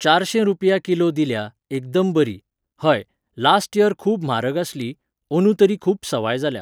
चारशें रुपया किलो दिल्या, एकदम बरी. हय, लास्ट यर खूब म्हारग आसली. अंदू तरी खूब सवाय जाल्या.